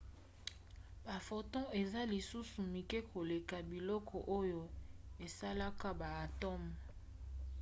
baphotons eza lisusu mike koleka biloko oyo esalaka baatomes!